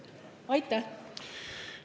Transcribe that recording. Aitäh!